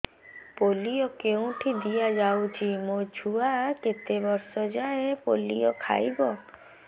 polio କେଉଁଠି ଦିଆଯାଉଛି ମୋ ଛୁଆ କେତେ ବର୍ଷ ଯାଏଁ ପୋଲିଓ ଖାଇବ